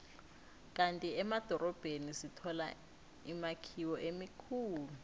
kandi emadorobheni sithola imakhiwo emikhulu